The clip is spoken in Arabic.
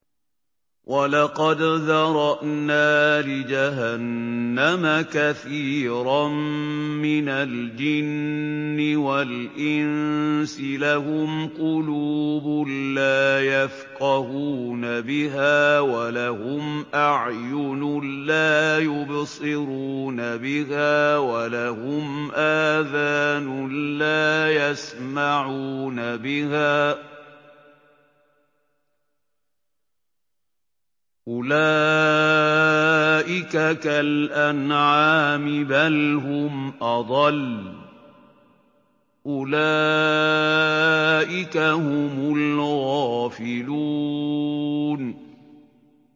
وَلَقَدْ ذَرَأْنَا لِجَهَنَّمَ كَثِيرًا مِّنَ الْجِنِّ وَالْإِنسِ ۖ لَهُمْ قُلُوبٌ لَّا يَفْقَهُونَ بِهَا وَلَهُمْ أَعْيُنٌ لَّا يُبْصِرُونَ بِهَا وَلَهُمْ آذَانٌ لَّا يَسْمَعُونَ بِهَا ۚ أُولَٰئِكَ كَالْأَنْعَامِ بَلْ هُمْ أَضَلُّ ۚ أُولَٰئِكَ هُمُ الْغَافِلُونَ